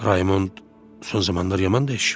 Raymont son zamanlar yaman dəyişib.